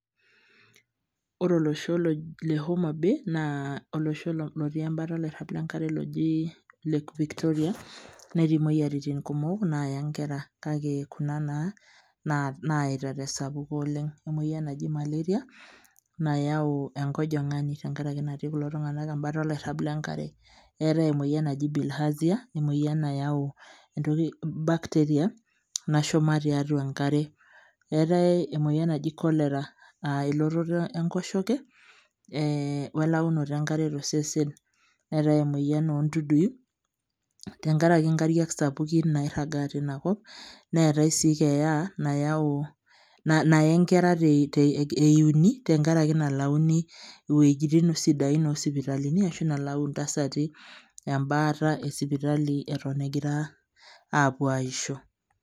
ore olosho le omabay, naa olosho lotii ebata oloirag lenkare loji, lake victoria. netii moyiaritin kumok naaya nkera. kake ena naaya tesapuko oleng. emoyian naji, malaria nayau enkojingani, tenkaraki natiii kulo tunganak ebata enkare. neetae emoyian naji bilharzia emoyian nayau entoki bacteria nashuma tiatua enkare. eetae emoyian naji cholera naa elototo enkoshoke welaunoto enkare tosese. neetae emoyian oo ntudui tenkaraki nkariak sapukin nairagaa teina kop. neetae sii keeya naye nkera te euuni tenkaraki nalauni, iwuejitin sidain oosipitalini, ashu nayau intasati ebaata esipitali eton egira aapuonu aaisho.